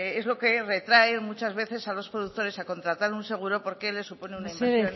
es lo que retrae muchas veces a los productores a contratar un seguro porque les supone una inversión importante mesedez